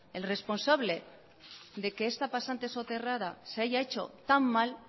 el responsable de que esta pasante soterrada se haya hecho tan mal